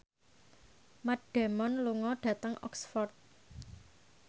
Matt Damon lunga dhateng Oxford